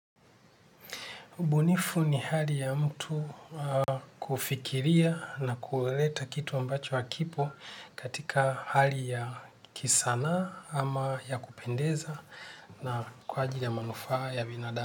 Ubnifu ni hali ya mtu kufikiria na kuleta kitu ambacho hakipo katika hali ya kisanaa ama ya kupendeza na kwa ajili ya manufaa ya binadamu.